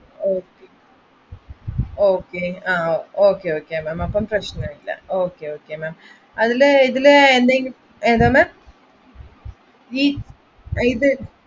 Okay okay ma'amഅപ്പൊ പ്രശ്‌നമില്ല അതിൽ ഇതില് ഏതെങ്കിലും ഏതാ ma'am ഇത്